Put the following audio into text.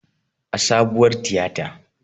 A sabuwar tiyata